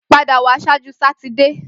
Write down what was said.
Pada wa ṣaaju Satidee!